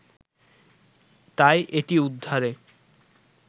তাই এটি উদ্ধারে